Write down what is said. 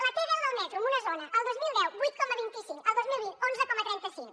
la t deu del metro d’una zona el dos mil deu vuit coma vint cinc el dos mil vint onze coma trenta cinc